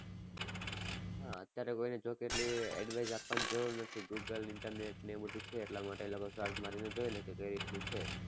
હા અત્યારે કોઈ ને જો કે એટલી advice આપવાની જરૂર નથી google internet ને એવું બધુ છે એટલા માટે એ લોકો search મારી ને જોઈ લે કે કઈ રીતનું છે.